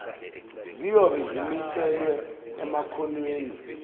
ziyobe zimiselwe emakhonweni